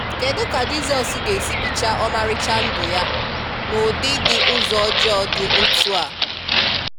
Kedụ ka Jizọs ga esi bichaa ọmarịcha ndụ Ya n'ụdị di ụzọ ọjọọ dị otu a?